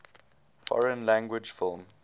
foreign language film